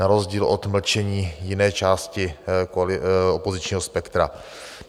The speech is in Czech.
Na rozdíl od mlčení jiné části opozičního spektra.